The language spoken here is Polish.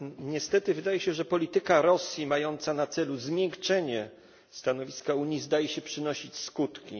Niestety wydaje się, że polityka Rosji, mająca na celu zmiękczenie stanowiska Unii, zdaje się przynosić skutki.